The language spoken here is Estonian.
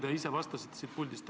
Nii te ise vastasite siit puldist.